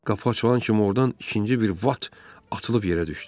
Qapı açılan kimi ordan ikinci bir Bat açılıb yerə düşdü.